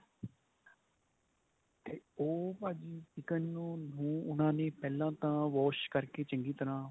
ਉਹ ਭਾਜੀ chicken ਨੂੰ ਉਹਨਾ ਨੇ ਪਹਿਲਾਂ ਤਾਂ wash ਕਰਕੇ ਚੰਗੀ ਤਰ੍ਹਾਂ